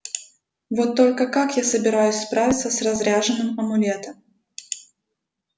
вот только как я собираюсь справиться с разряженным амулетом